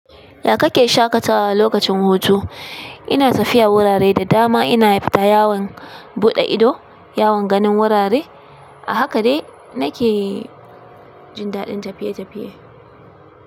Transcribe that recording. Ya kake shaƙatawa lokacin hutu? Ina tafiya wurare da dama, ina fita yawon buɗe ido, yawon ganin wurare a haka dai nake jin daɗin tafiye-tafiye.